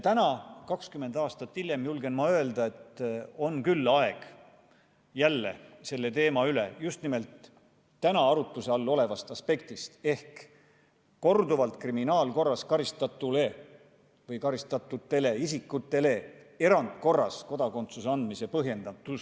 Täna, 20 aastat hiljem julgen ma öelda, et on aeg jälle arutleda selle teema üle just nimelt täna arutluse all olevast aspektist ehk korduvalt kriminaalkorras karistatule või karistatud isikule erandkorras kodakondsuse andmise põhjendatuse aspektist.